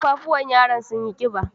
Kafafuwan yaron sun yi ƙiba